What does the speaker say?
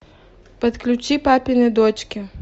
подключи папины дочки